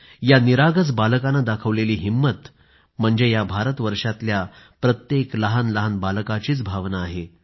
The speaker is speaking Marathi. या निरागस बालकानं दाखवलेली हिंमत म्हणजे आज भारतवर्षातल्या प्रत्येक लहानलहान बालकाचीच भावना आहे